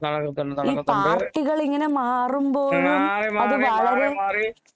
നടക്കുന്നുണ്ട് നടക്കുന്നുണ്ട്